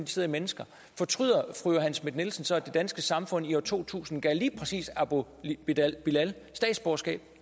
sidder i mennesker fortryder fru johanne schmidt nielsen så at det danske samfund i år to tusind gav lige præcis abu bilal bilal statsborgerskab